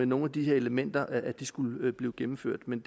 nogen af de her elementer skulle blive gennemført men